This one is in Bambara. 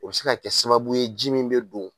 O be se ka kɛ sababu ye ji min be don